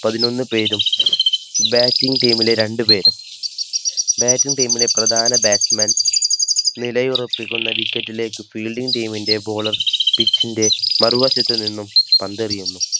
പതിനൊന്ന് പേരും. Bating Team ലെ രണ്ടുപേരും നിലയുറപ്പിക്കുന്ന വിക്കറ്റിലേക്ക് Fielding Team ന്റെ Bowler പിച്ചിന്റെമറുവശത്തു നിന്നും പന്തേറിയുന്നു.